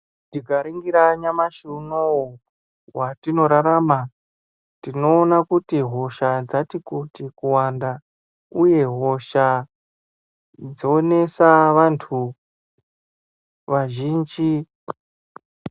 Tikaringira nyamashi unowu watinorarama inoona kuti hosha dzatikuti kuwanda uye hosha dzonesa vantu vazhinji.